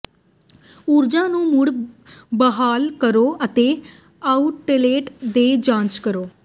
ਊਰਜਾ ਨੂੰ ਮੁੜ ਬਹਾਲ ਕਰੋ ਅਤੇ ਆਉਟਲੇਟ ਦੀ ਜਾਂਚ ਕਰੋ